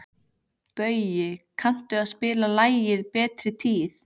Baui, kanntu að spila lagið „Betri tíð“?